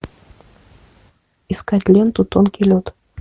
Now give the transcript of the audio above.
искать ленту тонкий лед